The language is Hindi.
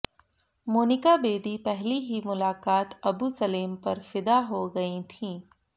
मोनिका बेदी पहली ही मुलाकात अबु सलेम पर फिदा हो गईं थीं